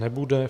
Nebude.